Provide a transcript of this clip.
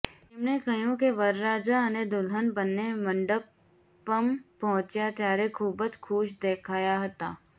તેમણે કહ્યું કે વરરાજા અને દુલ્હન બંને મંડપમ પહોંચ્યા ત્યારે ખૂબ જ ખુશ દેખાયા હતા